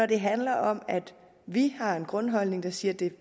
det handler om at vi har en grundholdning der siger at det